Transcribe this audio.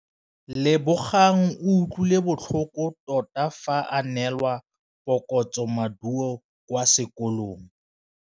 Lebogang o utlwile botlhoko tota fa a neelwa phokotsômaduô kwa sekolong.